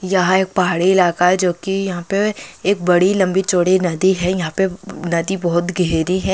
कृपया प्रतीक्षा करें हिंदी भाषा का अनुवाद लोड हो रहा है|